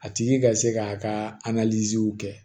A tigi ka se k'a ka kɛ